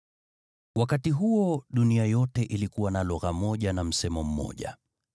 Wakati huo dunia yote ilikuwa na lugha moja na msemo mmoja.